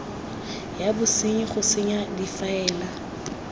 ya bosenyi go senya difaele